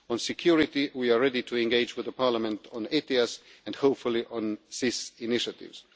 On security, we are ready to engage with the Parliament on ETS and, hopefully, on SIS initiatives.